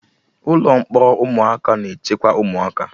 Ụlọ mkpọrọ ụmụaka na-echekwa ụmụaka